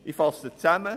Ich fasse zusammen: